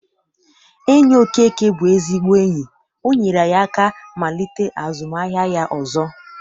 Enyi Okeke bụ ezigbo enyi. O nyere ya aka malite azụmaahịa ya ọzọ.